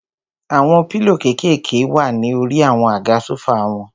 Àwọn pílò kékèèké wà ní orí àwọn àga sófà wọn.